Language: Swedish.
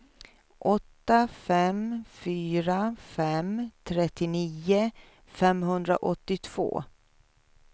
åtta fem fyra fem trettionio femhundraåttiotvå